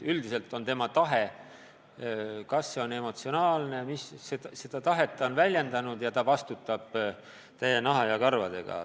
Üldiselt on ta seda tahet väljendanud ja vastutab täie naha ja karvadega.